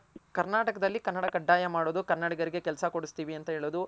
ಕರ್ನಾಟಕದಲ್ಲಿ ಕನ್ನಡ ಕಡ್ಡಾಯ ಮಾಡೋದು ಕನ್ನಡಿಗರಿಗೆ ಕೆಲ್ಸ ಕೊಡ್ಸ್ತಿವಿ ಅಂತ ಹೆಳೋದು